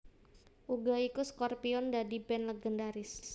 Uga iku Scorpions dadi band legendharis